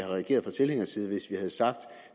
reageret fra tilhængerside hvis vi havde sagt